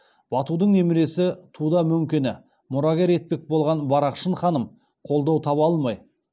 батудың немересі туда мөңкені мұрагер етпек болған барақшын ханым қолдау таба алмай